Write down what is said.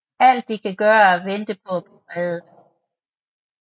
Alt de kan gøre er at vente på at blive reddet